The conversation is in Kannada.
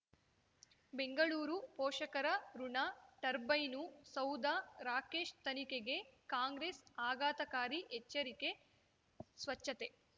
ಬೆಂಗಳೂರು ಪೋಷಕರಋಣ ಟರ್ಬೈನು ಸೌಧ ರಾಕೇಶ್ ತನಿಖೆಗೆ ಕಾಂಗ್ರೆಸ್ ಆಘಾತಕಾರಿ ಎಚ್ಚರಿಕೆ ಸ್ವಚ್ಛತೆ